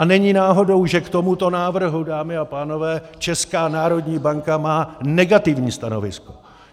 A není náhodou, že k tomuto návrhu, dámy a pánové, Česká národní banka má negativní stanovisko.